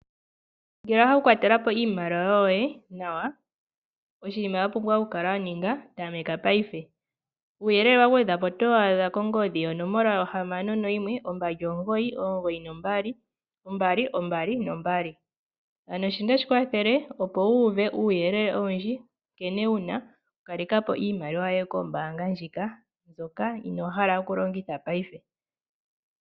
Ngele owa hala okukwatela po iimaliwa yoye nawa, oshinima wa pumbwa okukala wa ninga, tameka paife. Uuyelele wa gwedhwa po otowu adha kongodhi yonomola 061 2992222. Ano shika otashi ku kwathele opo wu uve uuyelele owundji nkene wu na okukaleka po iimaliwa yoye kombaanga ndjoka, mbyoka inoo hala okulongitha paife.